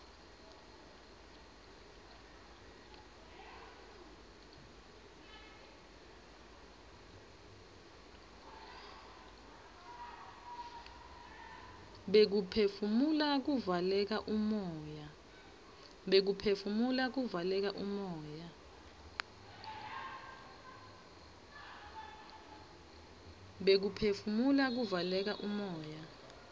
bekuphefumula kuvaleka umoya